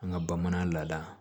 An ka bamanan lada